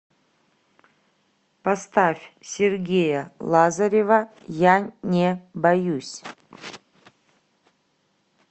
поставь сергея лазарева я не боюсь